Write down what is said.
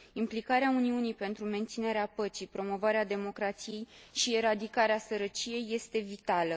Implicarea Uniunii pentru menținerea păcii, promovarea democrației și eradicarea sărăciei este vitală.